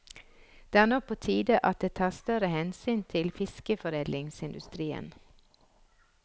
Det er nå på tide at det tas større hensyn til fiskeforedlingsindustrien.